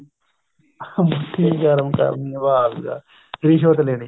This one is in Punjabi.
ਹਾਂ ਮੁੱਠੀ ਗਰਮ ਕਰਨੀ ਵਾਹ ਜੀ ਵਾਹ ਰਿਸ਼ਵਤ ਲੈਣੀ